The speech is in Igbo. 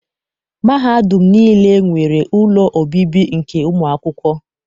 Mahadum niile nwere ụlọ obibi nke ụmụakwụkwọ.